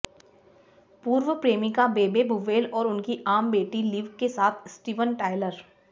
पूर्व प्रेमिका Bebe Buell और उनकी आम बेटी लिव के साथ स्टीवन टायलर